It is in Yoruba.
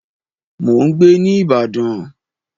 Mò ń gbé ní ìbàdàn.